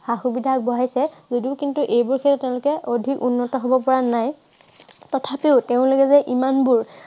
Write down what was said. সা-সুবিধা আগবঢ়াইছে যদিও কিন্তু এই বিষয়ে তেওঁলোকে অধিক উন্নত হ'ব পৰা নাই। তথাপিও তেওঁলোকে যে ইমানবোৰ